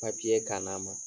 ka na ma